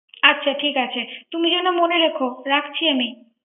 আচ্ছা ঠিক আছে তুমি যেন মনে রেখো রাখছি আমি।